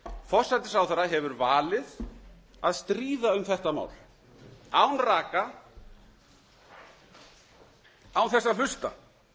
forsætisráðherra hefur valið að stríða um þetta mál án raka án þess að hlusta